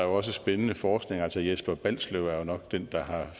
også spændende forskning altså jesper balslev er jo nok den der har